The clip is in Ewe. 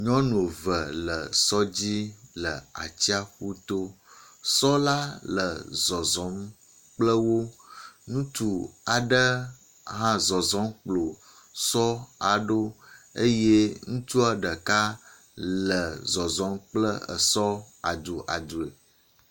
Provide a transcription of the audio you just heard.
Nyɔnu ve le sɔ dzi le atsiaƒu to, sɔ la le zɔzɔm kple wo. Ŋutsu aɖe hã le zɔzɔm kplo sɔ la ɖo eye ŋutsua ɖeka le zɔzɔm kple esɔ adu adu.